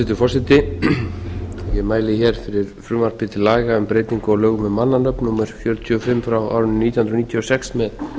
hæstvirtur forseti ég mæli hér fyrir frumvarpi til laga um breytingu á lögum um mannanöfn númer fjörutíu og fimm nítján hundruð níutíu og sex með